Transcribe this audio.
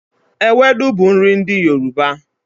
Ewedu bu nri ndi Yoruba